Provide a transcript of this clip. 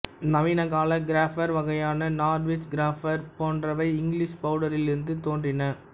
நவீனகால cropper வகையான Norwich cropper போன்றவை English பவுட்டரிலிருந்து தோன்றின